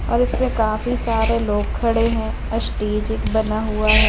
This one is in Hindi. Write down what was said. और इसमें काफी सारे लोग खड़े हैं स्टेज एक बना हुआ हैं।